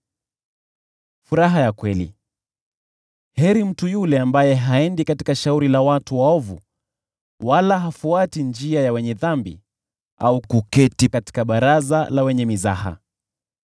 Heri mtu yule ambaye haendi katika shauri la watu waovu, wala hasimami katika njia ya wenye dhambi, au kuketi katika baraza la wenye mizaha.